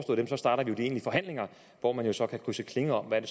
dem starter vi de egentlige forhandlinger hvor man jo så kan krydse klinger om hvad det